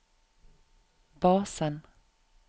basen